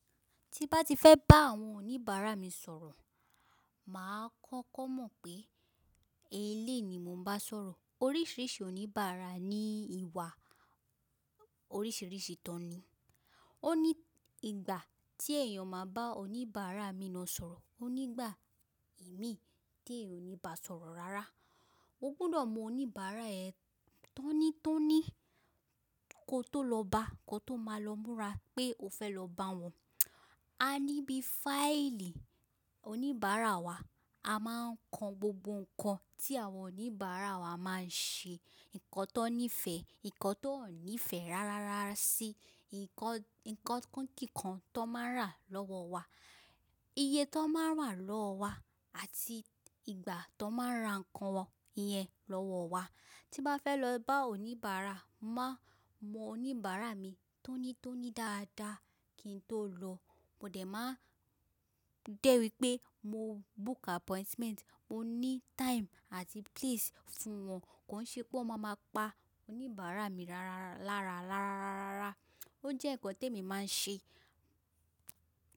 Tí bá ti fẹ́ bá àwọn oníbàárà mi sọ̀rọ̀, mà á kọ́kọ́ mọ̀ pé, èléyi ni mo ń bá sọ̀rọ̀. Oríṣìíríṣìí oníbàára ní ìwà oríṣìíríṣìí tán ni. Ó ní ìgbà tí èèyàn máa bá oníbàárà mi náà sọ̀rọ̀, ó nígbà è mí tí èèyàn ò ni bá sọ̀rọ̀ rárá. O gbudọ̀ mọ oníbàárà ẹ tó ní tó ní kó tó lọ bá, kó tó máa lọ múra pé o fẹ́ lọ bá wọn. A ní bí fáìlì oníbàárà wa, a máa ń kan gbogbo ǹkan tí àwọn oníbàárà wa máa ń ṣe, ǹkan tó nífẹ̀ẹ́, ǹkan tó ò nífẹ̀ẹ́ rárára sí, ǹkan kíkan tó máa ń rà lọ́wọ́ wa, iye tó máa ń rà lọ́wọ́ wa àti ìgbà tan máa ń ra ǹkan yẹn lọ́wọ́ wa. Tí n bá fẹ́ lọ bá oníbàárà, má mọ oníbàárà mi tó ní tó ní dáadáa kí n tó lọ. Mo dẹ̀ máa ń dé wípé mo book appointment, mo ní time àti place fún wọn kó ṣe pé wọ́n máa máa pa oníbàárà mi lárà ráràràrà. Ó jẹ́ ǹkan te mi máa ń ṣe.